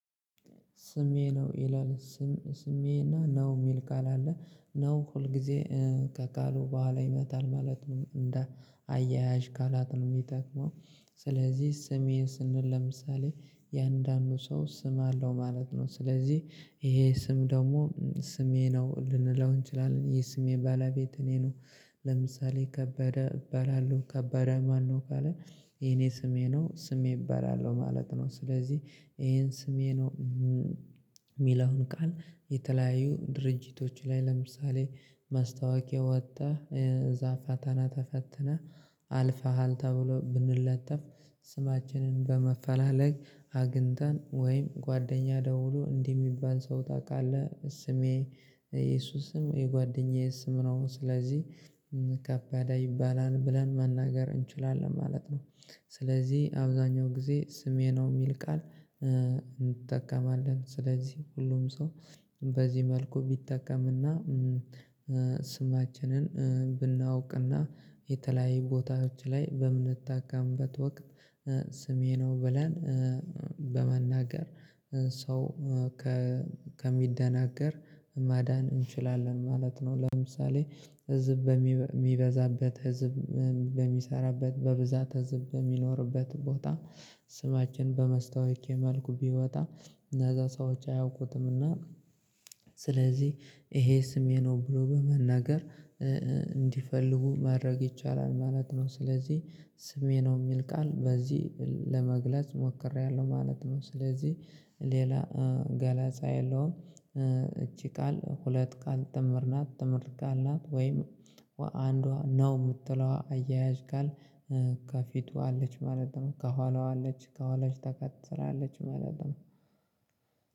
ስሜ ነው ይላል። ስሜ እና ነው የሚል ቃል አለ ነው ሁልጊዜ ከቃሉ በኋላ ይመጣል ማለት ነው እንደ አያያዥ ቃላት ነው የሚጠቅመው። ስለዚህ ስሜ ስንል ለምሳሌ እያንዳንዱ ሰው ስም አለው ማለት ነው ስለዚህ ይሄ ስም ደግሞ ስሜ ነው ልንለው እንችላለን የስሜ ባለቤት እኔ ነው። ለምሳሌ ከበደ እባላለሁ ከበደ ማነው ካለ የኔ ስሜ ነው ስሜ እባላለሁ ማለት ነው። ስለዚህ ይሄን ስሜ ነው የሚለውን ቃል የተለያዩ ድርጅቶች ላይ ለምሳሌ ማስታወቂያ ወጣ። እዛ ፈተና ተፈትነህ አልፈሃል ተብሎ ብንለጠፍ። ስማችንን በማፈላለግ አግኝተን ወይም ጓደኛ ደውሎ እንዲህ የሚባል ሰው ታውቃለህ ስሜ የሱ ስም የጓደኛዬ ስም ነው። ስለዚህ ከበደ ይባላል ብለን መናገር እንችላለን ማለት ነው። ስለዚህ አብዛኛው ጊዜ ስሜ ነው የሚል ቃል እንጠቀማለን ስለዚህ ሁሉም ሰው በዚህ መልኩ ቢጠቀም እና ስማችንን ብናውቅ እና የተለያየ ቦታዎች ላይ በምንታከምበት ወቅት ስሜ ነው ብለን። በመናገር ሰው ከሚደናገር ማዳን እንችላለን ማለት ነው። ለምሳሌ ህዝብ በሚበዛበት ህዝብ በሚሰራበት በብዛት ህዝብ በሚኖርበት ቦታ ስማችን በመስታወቂያ መልኩ ቢወጣ። እነዛ ሰዎች አያውቁትም እና ስለዚህ ይሄ ስሜ ነው ብሎ በመናገር እንዲፈልጉ ማድረግ ይቻላል ማለት ነው። ስለዚህ ስሜ ነው የሚል ቃል በዚህ ለመግለጽ ሞክሬያለሁ ማለት ነው። ስለዚህ ሌላ ገለጻ የለውም። እቺ ቃል ሁለት ቃል ጥምር ናት ጥምር ቃላ ናት ወይም አንዷ ነው የምትለዋ አያያዥ ቃል ከፊቱ አለች ማለት ነው ከኋላዋ አለች ከኋላሽ ተከትላለች ማለት ነው።